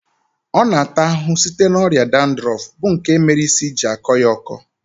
Ọ na ata ahụhụ site na ọrịa dandrọfu bụ nke mere isi ji akọ ya ọkọ